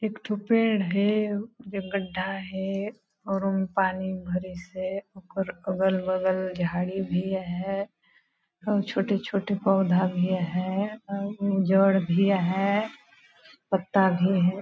एकतो पेड़ है गड्ढा है और पानी भरी से अगल बगल झाड़ी भी है छोटे-छोटे पौधा भी है जड़ भी है पत्ता भी --